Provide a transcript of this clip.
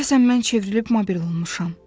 Deyəsən mən çevrilib mabel olmuşam.